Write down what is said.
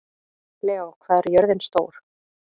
Leó, hvað er jörðin stór?